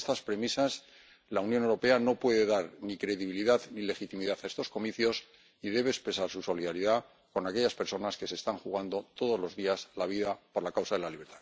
Sin estas premisas, la Unión Europea no puede dar ni credibilidad ni legitimidad a estos comicios y debe expresar su solidaridad con aquellas personas que se están jugando todos los días la vida por la causa de la libertad.